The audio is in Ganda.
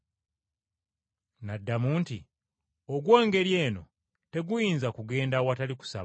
N’addamu nti, “Ogw’engeri eno teguyinza kugenda awatali kusaba.”